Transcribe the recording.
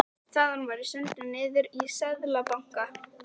Þaðan var ég sendur niður í Seðlabanka.